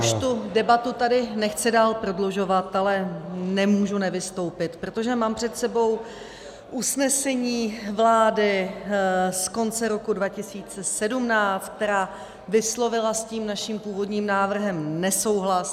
Já už tu debatu tady nechci dál prodlužovat, ale nemůžu nevystoupit, protože mám před sebou usnesení vlády z konce roku 2017, která vyslovila s tím naším původním návrhem nesouhlas.